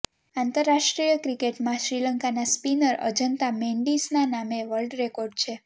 આંતરરાષ્ટ્રીય ક્રિકેટમાં શ્રીલંકાના સ્પિનર અજંતા મેન્ડિસના નામે વર્લ્ડ રેકોર્ડ છે